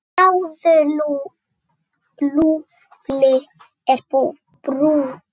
Sjáðu, Lúlli er brúnn.